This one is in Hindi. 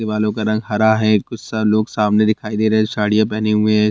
बालों का रंग हरा है कुछ सारा लोग सामने दिखाई दे रहे है साड़ियां पहने हुए हैं।